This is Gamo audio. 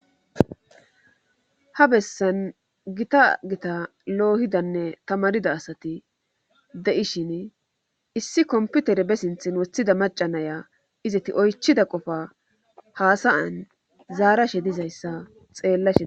ha bessan gita gita loohidanne tamarida asati de7ishin issi komputere be sinthin wothida macanaya izati oychida qofa haasayan zaarashe dizayssa xeela shie